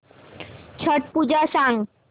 छट पूजा सांग